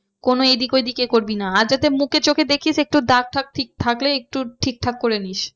কোনো এদিক ওদিক এ করবি না আর যাতে মুখে চোখে দেখিস একটু দাগ টাগ ঠিক থাকলে একটু ঠিকঠাক করেনিস।